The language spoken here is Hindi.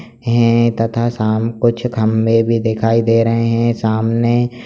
हैं तथा शाम कुछ खंभे भी दिखाई दे रहें हैं सामने --